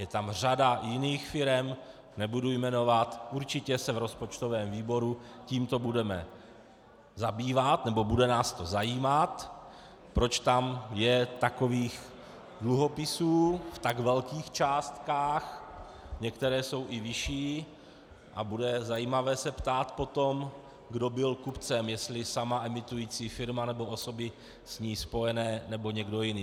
Je tam řada jiných firem, nebudu jmenovat, určitě se v rozpočtovém výboru tímto budeme zabývat, nebo bude nás to zajímat, proč je tam takových dluhopisů v tak velkých částkách, některé jsou i vyšší, a bude zajímavé se ptát potom, kdo byl kupcem, jestli sama emitující firma, nebo osoby s ní spojené, nebo někdo jiný.